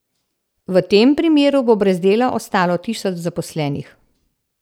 V tem primeru bo brez dela ostalo tisoč zaposlenih.